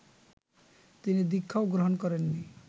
তিনি দীক্ষাও গ্রহণ করেননি